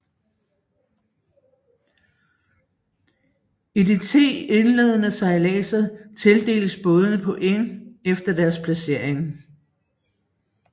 I de ti indledende sejladser tildeles bådene points efter deres placering